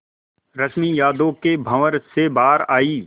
रश्मि यादों के भंवर से बाहर आई